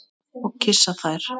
Og kyssa þær.